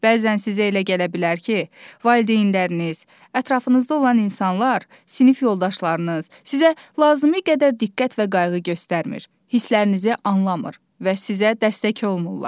Bəzən sizə elə gələ bilər ki, valideynləriniz, ətrafınızda olan insanlar, sinif yoldaşlarınız sizə lazım gədər diqqət və qayğı göstərmir, hisslərinizi anlamır və sizə dəstək olmurlar.